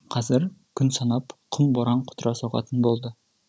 қазір күн санап құм боран құтыра соғатын болды